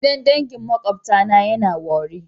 Gidan dangi na makwabtana yana owerri.